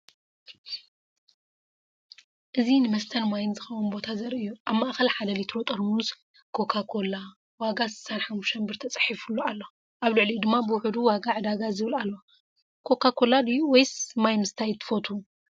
እዚ ንመስተን ማይን ዝኸውን ቦታ ዘርኢ እዩ። ኣብ ማእኸል 1 ሊትሮ ጥርሙዝ “ኮካ-ኮላ”፣ ዋጋ 65 ብር ተፃሒፉሉ ኣሎ። ኣብ ልዕሊኡ ድማ “ብውሑድ ዋጋ ዕዳጋ!” ዝብል ኣሎ። ኮካ ኮላ ድዩ ወይስ ማይ ምስታይ ትፍተው?